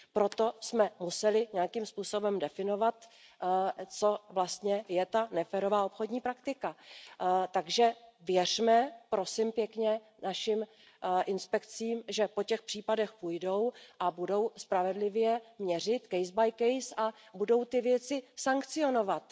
Proto jsme museli nějakým způsobem definovat, co vlastně je ta neférová obchodní praktika. Takže věřme, prosím pěkně, našim inspekcím, že po těch případech půjdou a budou spravedlivě měřit case by case a budou ty věci sankcionovat.